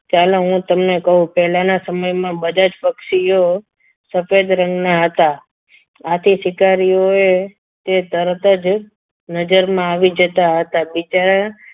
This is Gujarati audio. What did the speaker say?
ચાલો હું તમને કહું પહેલાના સમયમાં બધા જ પક્ષીઓ સફેદ રંગના હતા આથી સ્વીકારીઓએ તે તરત જ નજરમાં આવી જતા હતા બિચારા